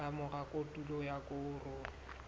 ka mora kotulo ya koro